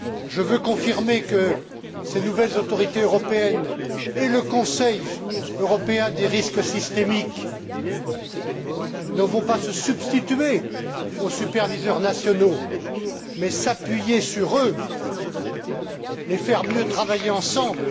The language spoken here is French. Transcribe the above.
Je veux confirmer que ces nouvelles autorités européennes et le Comité européen du risque systémique ne vont pas se substituer aux superviseurs nationaux, mais s'appuyer sur eux, les faire mieux travailler ensemble,